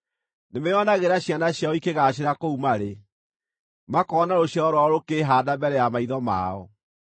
Nĩmeonagĩra ciana ciao ikĩgaacĩra kũu marĩ, makoona rũciaro rwao rũkĩĩhaanda mbere ya maitho mao.